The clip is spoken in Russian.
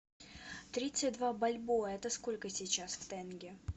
тридцать два бальбоа это сколько сейчас в тенге